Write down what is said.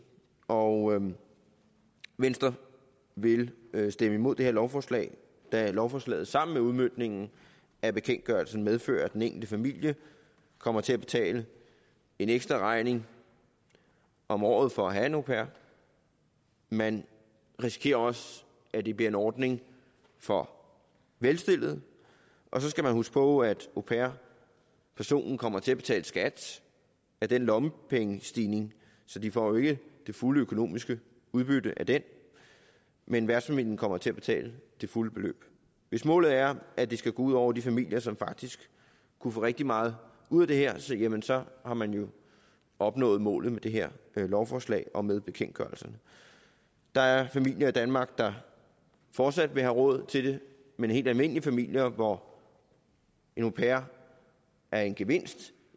og venstre vil stemme imod det her lovforslag da lovforslaget sammen med udmøntningen af bekendtgørelsen medfører at den enkelte familie kommer til at betale en ekstraregning om året for at have en au pair man risikerer også at det bliver en ordning for velstillede og så skal man huske på at au pair personerne kommer til at betale skat af den lommepengestigning så de får jo ikke det fulde økonomiske udbytte af den men værtsfamilien kommer til at betale det fulde beløb hvis målet er at det skal gå ud over de familier som faktisk kunne få rigtig meget ud af det her jamen så har man jo opnået målet med det her lovforslag og med bekendtgørelsen der er familier i danmark der fortsat vil have råd til det men helt almindelige familier hvor en au pair er en gevinst